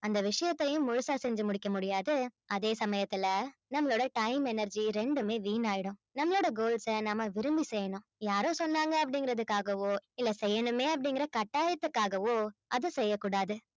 அந்த விஷயத்தையும் முழுசா செஞ்சு முடிக்க முடியாது அதே சமயத்துல நம்மளோட time energy ரெண்டுமே வீணாயிடும் நம்மளோட goals அ நம்ம விரும்பி செய்யணும் யாரோ சொன்னாங்க அப்படிங்கறதுக்காகவோ இல்லை செய்யணுமே அப்படிங்கற கட்டாயத்துக்காகவோ அது செய்யக் கூடாது